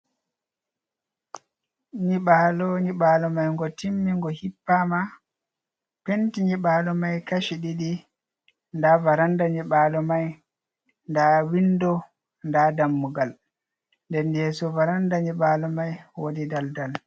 Nyibalo, nyibalo mai ngo timmi ngo hippama, penti nyibalo mai kashi ɗiɗi, nda varanda nyibalo mai nda windo nda dammugal, nden yeso varanda nyibalo mai wodi daldal.